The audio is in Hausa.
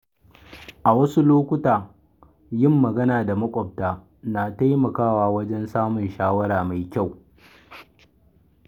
A wasu lokuta, yin magana da maƙwabta na taimakawa wajen samun shawara mai kyau.